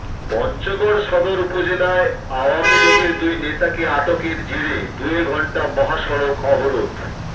পঞ্চগড় সদর উপজেলায় আওয়ামী লীগের দুই নেতাকে আটকের জেরে দুই ঘণ্টা মহাসড়ক অবরোধ